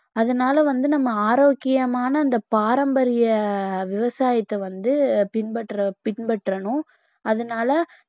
அதனால வந்து நம்ம ஆரோக்கியமான அந்த பாரம்பரிய விவசாயத்தை வந்து பின்பற்ற பின்பற்றணும் அதனால